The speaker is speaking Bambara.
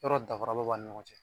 Yɔrɔ dafara ba b'a ni ɲɔgɔn cɛ?